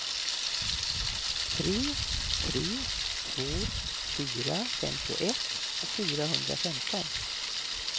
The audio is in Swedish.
tre tre två fyra femtioett fyrahundrafemton